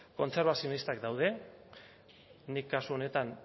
kontzerbatzionistak daude nik kasu honetan